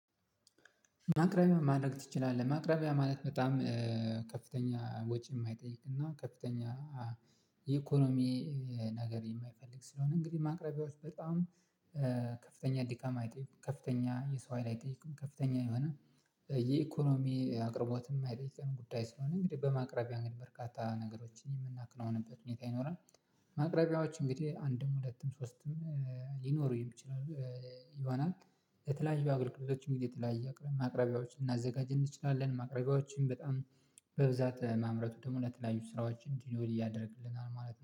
ማቅረቢያ ማድረግ ትችላለህ? ማቅረቢያ ማለት በጣም ከፍተኛ ወጪ የማይጠይቅና ከፍተኛ የኢኮኖሚ ነገር የማይፈልግ ስለሆነ እንግዲህ ማቅረቢያዎች በጣም ከፍተኛ ድካም አይጠይቅም ከፍተኛ የሰው ሀይል አይጠይቅም ከፍተኛ የሆነ የኢኮኖሚ አቅርቦት የማይጠይቀን ጉዳይ ሲሆን እንግዲህ በማቅረቢያ እንግዲህ በርካታ ነገሮችን የምናከናውንበት ሁኔታ ይኖራል። ማቅረቢያዎች እንግዲህ አንድም ሁለትም ሶስትም ሊኖሩኝ ይችላሉ ይሆናል። የተለያዩ አገልግሎቶች እንግዲህ የተለያዩ አቅራቢያዎችን ልናዘጋጅ እንችላለን። ማቅረቢያዎችን በጣም በብዛት ማምረቱ ደግሞ ለተለያዩ ስራዎች እንዲኖር እያደረግልናል ማለት ነው